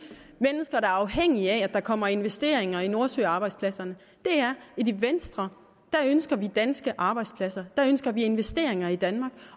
mennesker der er afhængige af at der kommer investeringer i nordsøarbejdspladserne er at i venstre ønsker vi danske arbejdspladser der ønsker vi investeringer i danmark